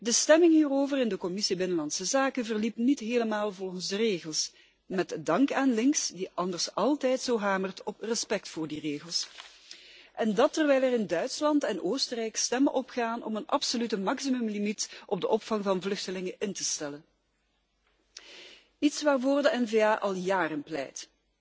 De stemming hierover in de Commissie binnenlandse zaken verliep niet helemaal volgens de regels met dank aan links, dat anders altijd zo hamert op respect voor die regels. En dat terwijl er in Duitsland en Oostenrijk stemmen opgaan om een absolute maximumlimiet op de opvang van vluchtelingen in te stellen iets waarvoor de N-VA al jaren pleit